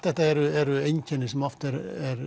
þetta eru eru einkenni sem oft eru